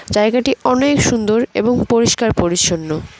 জায়গাটি অনেক সুন্দর এবং পরিষ্কার পরিচ্ছন্ন।